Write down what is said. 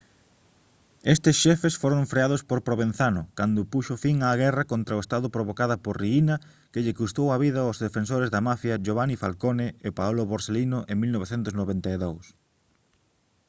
estes xefes foron freados por provenzano cando puxo fin á guerra contra o estado provocada por riina que lle custou a vida aos defensores da mafia giovanni falcone e paolo borsellino en 1992»